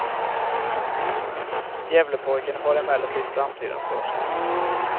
Gävlepojken har emellertid framtiden för sig.